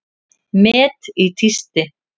Met í tísti